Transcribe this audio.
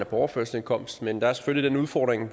på overførselsindkomst men der er selvfølgelig den udfordring